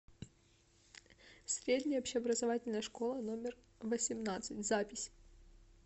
средняя общеобразовательная школа номер восемнадцать запись